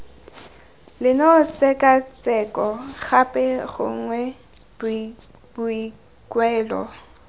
leno tshekatsheko gape gongwe boikuelo